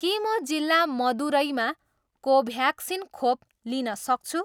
के म जिल्ला मदुरैमा कोभ्याक्सिन खोप लिन सक्छु